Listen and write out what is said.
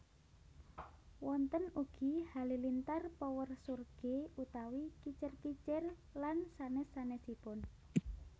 Wonten ugi halilintar Power Surge utawi kicir kicir lan sanes sanesipun